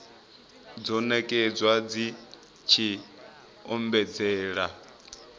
dzo nekedzwa dzi tshi ombedzela